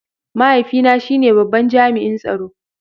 Mahaifina shine babban jami'in tsaro.